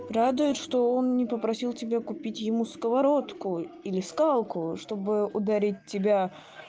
радует что он не попросил тебя купить ему сковородку или скалку чтобы ударить тебя